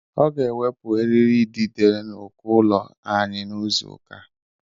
Ọ ga-ewepụ eriri idide n'uko ụlọ anyị n'izu ụka a.